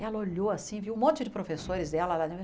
Ela olhou assim, viu um monte de professores dela lá dentro.